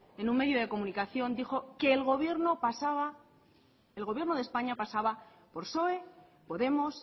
en un medio de comunicación dijo que el gobierno de españa pasaba por psoe podemos